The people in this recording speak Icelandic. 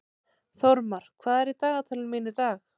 Þórmar, hvað er í dagatalinu mínu í dag?